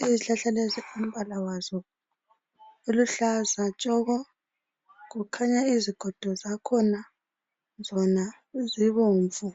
izihlahla lezi umbala wazo uluhlaza tshoko kukhanya izigodo zakhona zona zibomvu.